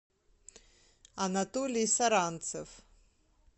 анатолий саранцев